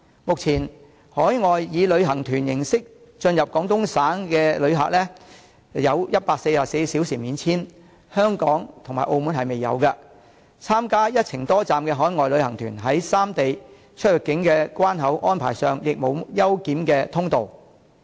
目前，海外以旅行團形式進入廣東省的旅客有144小時免簽證安排，香港及澳門仍未有，參加"一程多站"的海外旅行團在三地出入境關口安排上，亦沒有優檢通道。